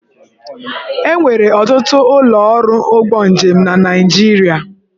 E nwere ọtụtụ ụlọ ọrụ ụgbọ njem na Naịjirịa.